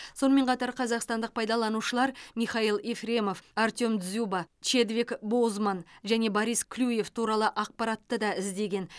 сонымен қатар қазақстандық пайдаланушылар михаил ефремов артем дзюба чедвик боузман және борис клюев туралы ақпаратты да іздеген